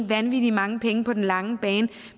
vanvittig mange penge på den lange bane